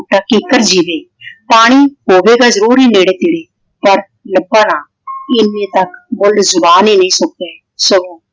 Cooker ਜਿਵੇਂ ਪਾਣੀ ਹੋਵੇਗਾ ਜਰੂਰ ਹੀ ਨੇੜੇ ਤੇੜੇ ਪਰ ਲੱਭਾ ਨਾ। ਇਹਨੇ ਤੱਕ ਬੁੱਲ ਜਵਾਨ ਹੀ ਨਹੀਂ ਸੁੱਕੇ ਸਗੋਂ